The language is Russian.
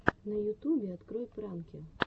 на ютюбе открой пранки